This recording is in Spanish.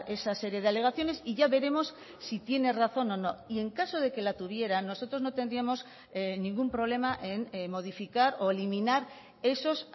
esa serie de alegaciones y ya veremos si tiene razón o no y en caso de que la tuviera nosotros no tendríamos ningún problema en modificar o eliminar esos